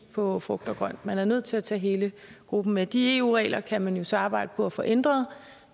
på frugt og grønt man er nødt til at tage hele gruppen med de eu regler kan man jo så arbejde på at få ændret